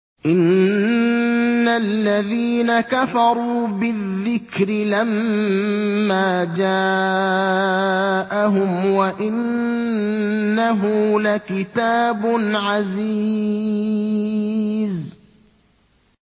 إِنَّ الَّذِينَ كَفَرُوا بِالذِّكْرِ لَمَّا جَاءَهُمْ ۖ وَإِنَّهُ لَكِتَابٌ عَزِيزٌ